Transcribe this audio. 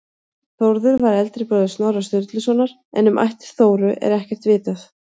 Þórður var eldri bróðir Snorra Sturlusonar en um ættir Þóru er ekkert vitað.